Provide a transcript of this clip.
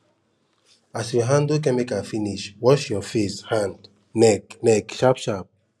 as you handle chemical finish wash your face hand neck neck sharp sharp